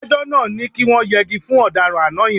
Adájọ́ náà ní kí wọ́n yẹgi fún ọ̀daràn àná yẹn.